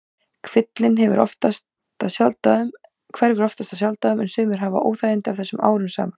Kvillinn hverfur oftast af sjálfsdáðum en sumir hafa óþægindi af þessu árum saman.